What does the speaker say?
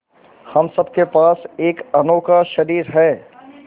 हम सब के पास एक अनोखा शरीर है